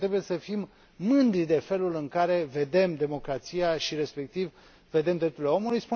Cred că trebuie să fim mândri de felul în care vedem democrația și, respectiv, drepturile omului.